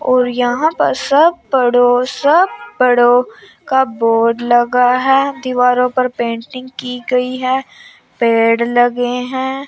और यहां पर सब पढ़ो सब बढ़ो का बोर्ड लगा है। दीवारों पर पेटिंग की गई हैं। पेड़ लगे हैं।